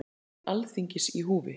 Trúverðugleiki Alþingis í húfi